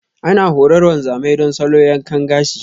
Ana horar wanzamai don salo yankan gashi.